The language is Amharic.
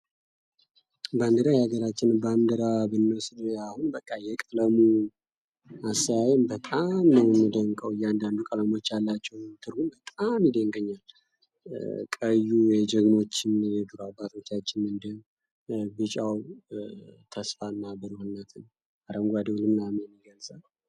ባንድራ የሀገራችን ባንድራ ብንወስድ አሁን በቃ የቀለሙ አሰያየም በጣም ነው የሚደንቀው እያንዳንዱ ቀለሞች ያላቸው ትርጉም በጣም ይደንቀኛል። ቀዩ የጀግኖች አባቶቻችንን ደም ቢጫው ተስፋና ብሩህነትን አረንጓዴው ልምላሜን ይገልጻል።